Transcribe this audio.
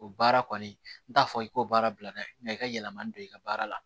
O baara kɔni n t'a fɔ i ko baara bilala nga i ka yɛlɛma don i ka baara la